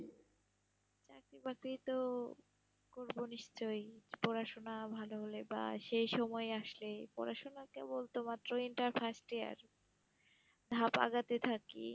চাকরি-বাকরি তো করবো নিশ্চয়ই, পড়াশুনা ভালো হলে, বা সেই সময় আসলে, পড়াশুনা কেবল তো মাত্র intern first year, থাকি,